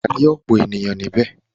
Wà á rí ọ̀pọ̀ ènìyàn níbẹ̀.